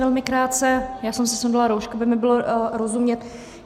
Velmi krátce, já jsem si sundala roušku, aby mi bylo rozumět.